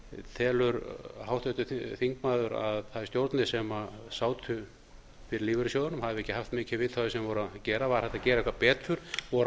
telur háttvirtur þingmaður að þær stjórnir sem sátu yfir lífeyrissjóðunum hafi ekki haft mikið vita á því sem þær voru að gera var hægt að gera eitthvað betur voru